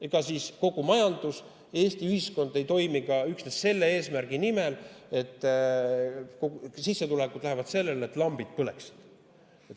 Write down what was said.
Ega siis kogu majandus, Eesti ühiskond ei toimi üksnes selle eesmärgi nimel, sissetulekud ei lähe ainult sellele, et lambid põleksid.